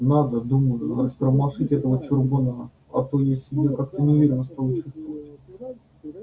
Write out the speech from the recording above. надо думаю растормошить этого чурбана а то я себя как-то неуверенно стал чувствовать